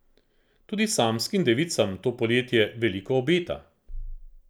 Tudi samskim devicam to poletje veliko obeta.